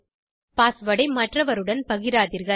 password ஐ மற்றவருடன் பகிராதீர்கள்